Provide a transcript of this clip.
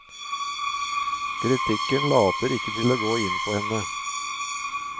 Kritikken later ikke til å gå inn på henne.